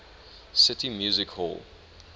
city music hall